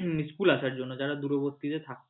হম school আসার জন্য যারা দূরবর্তী তে থাকে।